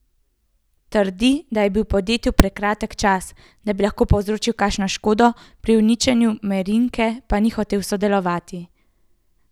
Trdi, da je bil v podjetju prekratek čas, da bi lahko povzročil kakšno škodo, pri uničenju Merinke pa ni hotel sodelovati.